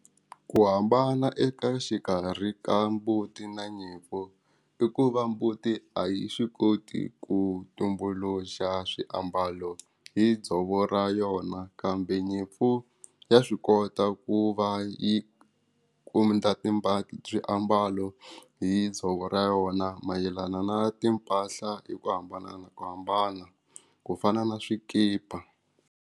Ku hambana eka xikarhi ka mbuti na nyimpfu i ku va mbuti a yi swi koti ku tumbuluxa swiambalo hi dzovo ra yona kambe nyimpfu ya swi kota ku va yi kuma swiambalo hi dzovo ra yona mayelana na timpahla hi ku hambanahambana ku fana na swikipa.